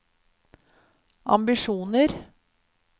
ambisjoner